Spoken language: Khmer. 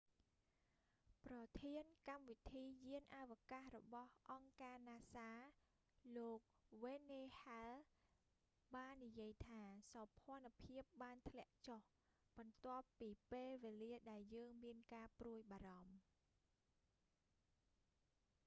ប្រធានកម្មវិធីយានអវកាសរបស់អង្គការណាសាលោក n. wayne hale jr.បាននិយាយថាសោភណ្ឌភាពបានធ្លាក់ចុះ បន្ទាប់ពីពេលវេលាដែលយើងមានការព្រួយបារម្ភ” ។